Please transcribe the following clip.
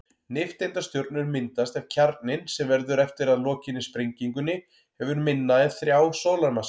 Nifteindastjörnur myndast ef kjarninn, sem verður eftir að lokinni sprengingunni, hefur minna en þrjá sólarmassa.